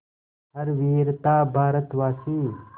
हर वीर था भारतवासी